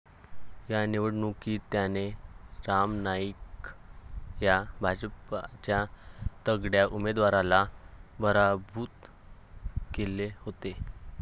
या निवडणूकीत त्याने राम नाईक या भाजपच्या तगड्या उमेदवाराला पराभूत केले होते.